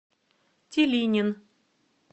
тилинин